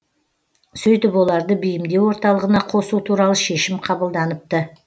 сөйтіп оларды бейімдеу орталығына қосу туралы шешім қабылданыпты